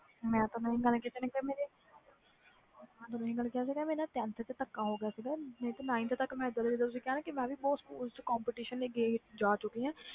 ਮੇਰੇ ਨਾਲ tenth ਵਿਚ ਥਕਾ ਹੋ ਗਿਆ ਸੀ nineth ਤਕ ਮੈਂ ਵੀ ਬਹੁਤ competition ਵਿਚ ਜਾ ਚੁਕੀ ਸੀ